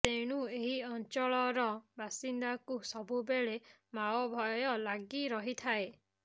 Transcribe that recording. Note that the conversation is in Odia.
ତେଣୁ ଏହି ଅଞ୍ଚଳର ବାସିନ୍ଦାଙ୍କୁ ସବୁବେଳେ ମାଓ ଭୟ ଲାଗି ରହିଥାଏ